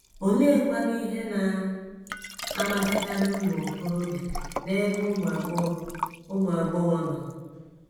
Oleekwanụ ihe na - amasịkarị ụmụ okorobịa n’ebe ụmụ agbọghọ ụmụ agbọghọ nọ?